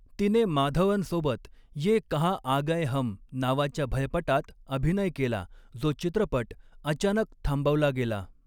तिने माधवनसोबत 'ये कहाँ आ गये हम' नावाच्या भयपटात अभिनय केला, जो चित्रपट अचानक थांबवला गेला.